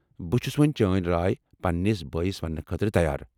بہٕ چُھس وۄنۍ چٲنۍ راے پننِس بٲیِس وننہٕ خٲطرٕ تیار